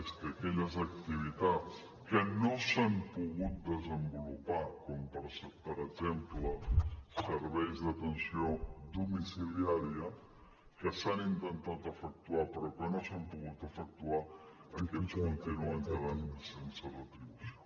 és que aquelles activitats que no s’han pogut desenvolupar com per exemple serveis d’atenció domiciliària que s’han intentat efectuar però que no s’han pogut efectuar aquestes continuen quedant sense retribució